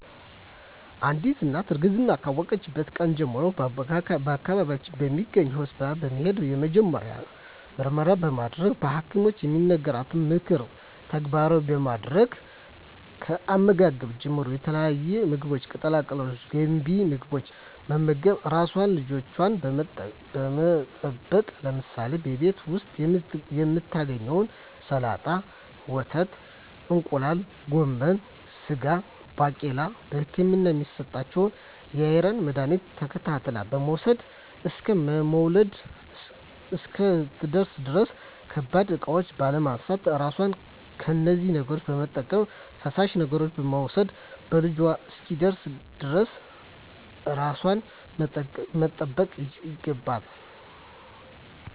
አንዲት እናት እርግዝናዋን ካወቀችበት ቀን ጀምሮ በአካባቢዋ በሚገኝ ሆስፒታል በመሄድ የመጀመሪያ ምርመራ በማድረግ በሀኪሞች የሚነገሯትን ምክሮች ተግባራዊ በማድረግ ከአመጋገብ ጀምሮ የተለያዩ ምግቦች ቅጠላ ቅጠሎች ገንቢ ምግቦች በመመገብ ራሷንና ልጇን በመጠበቅ ለምሳሌ በቤት ዉስጥ የምታገኛቸዉን ሰላጣ ወተት እንቁላል ጎመን ስጋ ባቄላ በህክምና የሚሰጣትን የአይረን መድሀኒቶች ተከታትላ በመዉሰድ እስከ መዉለጃዋ እስክትደርስ ድረስ ከባድ እቃዎች ባለማንሳት ራሷን ከነዚህ ነገሮች በመጠበቅ ፈሳሽ ነገሮችን በመዉሰድ መዉለጃዋ እስኪደርስ ድረስ ራሷን መጠበቅ ይገባል